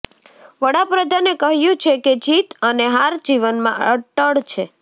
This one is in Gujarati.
વડા પ્રધાને કહ્યું છે કે જીત અને હાર જીવનમાં અટળ છે